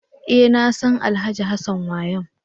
E! Nasan Alhj. Hassan Wayam.